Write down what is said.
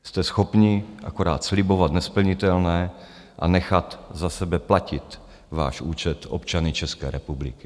Jste schopni akorát slibovat nesplnitelné a nechat za sebe platit váš účet občany České republiky.